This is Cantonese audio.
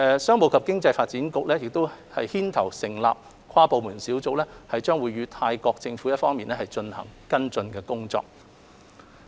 商務及經濟發展局牽頭成立的跨部門小組將會與泰國政府一方跟進有關工作。